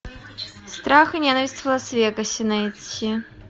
страх и ненависть в лас вегасе найти